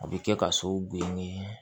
A bɛ kɛ ka sow bo ni